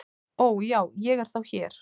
"""Ó, já, ég er þá hér"""